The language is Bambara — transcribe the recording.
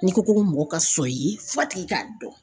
N'i ko ko mɔgɔ ka sɔn i ye f'a tigi k'a dɔn